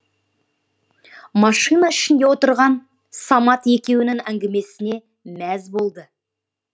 машина ішінде отырган самат екеуінің әңгімесіне мәз болды